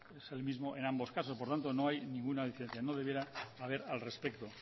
es el mismo en ambos caso por lo tanto no hay ninguna diferencia no debiera haber al respecto